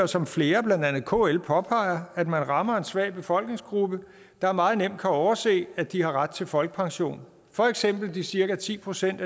som flere blandt andet kl påpeger at man rammer en svag befolkningsgruppe der meget nemt kan overse at de har ret til folkepension for eksempel de cirka ti procent